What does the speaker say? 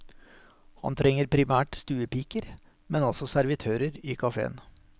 Han trenger primært stuepiker, men også servitører i kaféen.